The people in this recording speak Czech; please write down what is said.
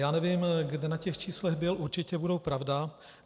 Já nevím, kde na těch číslech byl, určitě budou pravda.